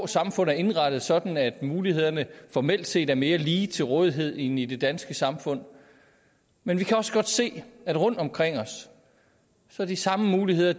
samfund er indrettet sådan at mulighederne formelt set er mere lige til rådighed end i det danske samfund men vi kan også godt se rundt omkring os at de samme muligheder